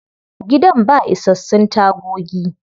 Gidan ba isassun tagogi.